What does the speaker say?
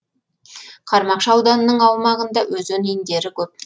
қармақшы ауданының аумағында өзен иіндері көп